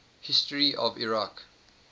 history of iraq